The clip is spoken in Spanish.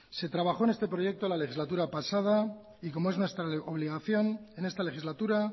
se trabajó en este proyecto en la legislatura pasada y como es nuestra obligación en esta legislatura